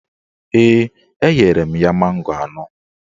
Ee, enyere m ya mango anọ